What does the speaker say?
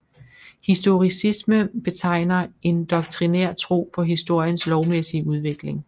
Historicisme betegner en doktrinær tro på historiens lovmæssige udvikling